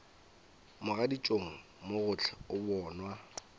mogaditšong mo gohle o bonwa